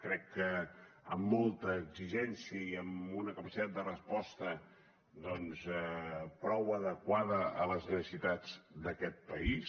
crec que amb molta exigència i amb una capacitat de resposta doncs prou adequada a les necessitats d’aquest país